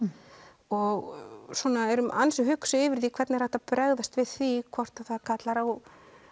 og eru ansi hugsi yfir því hvernig er hægt að bregðast við því hvort það kallar á